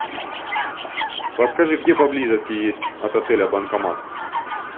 подскажи где поблизости есть от отеля банкомат